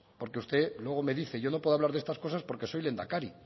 porque usted luego me dice yo no puedo hablar de estas cosas porque soy lehendakari